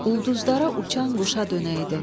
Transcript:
Ulduzlara uçan quşa dönəydim.